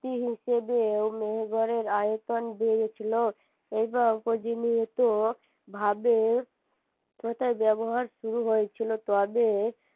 তি হিসেবে ও মেহেরগড়ের আয়তন বেড়েছিল ভাবে ব্যবহার শুরু হয়েছিল তবে